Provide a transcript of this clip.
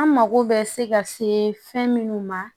An mago bɛ se ka se fɛn minnu ma